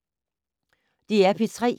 DR P3